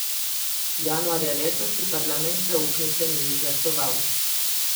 Januarja letos ji parlament zaupnice ni izglasoval.